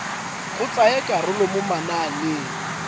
go tsaya karolo mo mananeng